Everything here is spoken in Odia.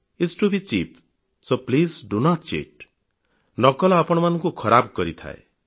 s to be cheap so please do not cheat ନକଲ ଆପଣଙ୍କୁ ଖରାପ କରିଥାଏ